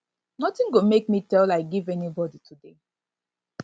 notin go make me to tell lie give anybodi today